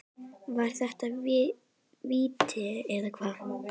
Var þetta víti eða ekki?